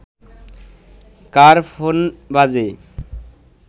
কার phone বাজে